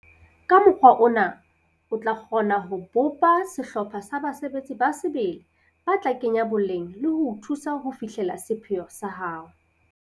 Ka mokgwa ona o tla kgona ho bopa sehlopha sa basebetsi ba sebele ba tla kenya boleng le ho o thusa ho fihlella sepheo sa hao.